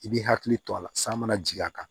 I b'i hakili to a la san mana jigin a kan